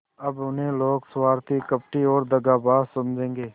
अब उन्हें लोग स्वार्थी कपटी और दगाबाज समझेंगे